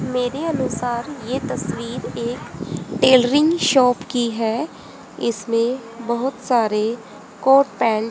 मेरे अनुसार ये तस्वीर एक टेलरिंग शॉप की है इसमे बहोत सारे कोट पेंट --